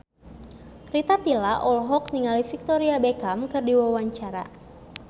Rita Tila olohok ningali Victoria Beckham keur diwawancara